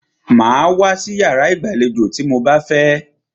Màá wá sí iyàrá ìgbàlejò tí mo bá fẹ́!